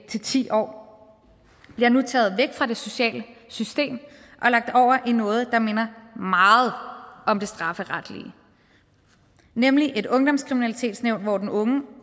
til ti år bliver nu taget væk fra det sociale system og lagt over i noget der minder meget om det strafferetlige nemlig et ungdomskriminalitetsnævn hvor den unge